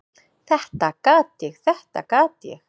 """Þetta gat ég, þetta gat ég!"""